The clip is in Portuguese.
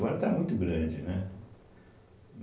tá muito grande, né?